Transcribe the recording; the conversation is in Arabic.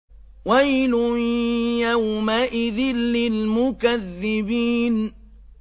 وَيْلٌ يَوْمَئِذٍ لِّلْمُكَذِّبِينَ